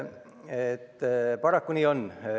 Paraku nii on.